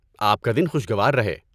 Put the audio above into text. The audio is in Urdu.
آپ کا دن خوشگوار رہے۔